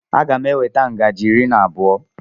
M ga-eweta ngaji iri na abụọ.